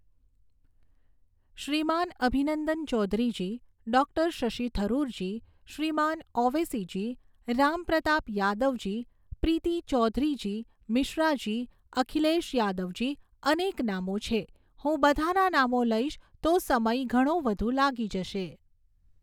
શ્રીમાન અભિનંદન ચૌધરીજી, ડોક્ટર શશી થરુરજી, શ્રીમાન ઔવેસીજી, રામપ્રતાપ યાદવજી, પ્રીતિ ચૌધરીજી, મિશ્રાજી, અખિલેશ યાદવજી, અનેક નામો છે, હું બધાના નામો લઈશ તો સમય ઘણો વધુ લાગી જશે.